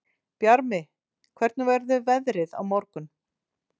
Bjarmi, hvernig verður veðrið á morgun?